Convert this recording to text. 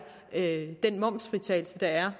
den momsfritagelse der er